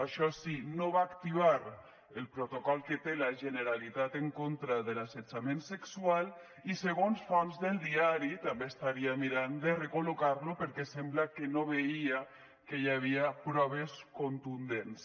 això sí no va activar el protocol que té la generalitat en contra de l’assetjament sexual i segons fonts del diari també estaria mirant de recol·locar lo perquè sembla que no veia que hi havia proves contundents